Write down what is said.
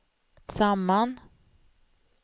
samman